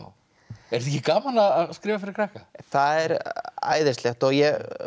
er ekki gaman að skrifa fyrir krakka það er æðislegt og ég